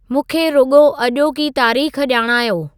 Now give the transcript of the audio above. मूंखे रुॻो अॼोकी तारेख़ ॼाणायो